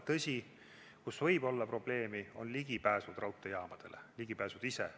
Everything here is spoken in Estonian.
Tõsi, probleem võib olla ligipääs raudteejaamale, ligipääs ise.